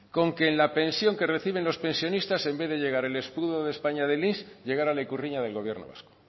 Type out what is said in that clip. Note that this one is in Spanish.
con que en la pensión que reciben los pensionistas en vez de llegar el escudo de españa del inss llegará la ikurriña del gobierno vasco